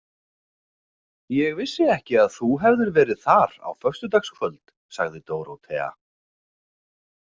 Ég vissi ekki að þú hefðir verið þar á föstudagskvöld, sagði Dórótea.